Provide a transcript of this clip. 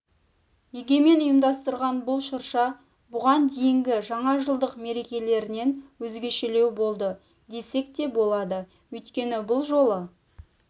егемен ұйымдастырған бұл шырша бұған дейінгі жаңажылдық мерекелерінен өзгешелеу болды десек те болады өйткені бұл жолы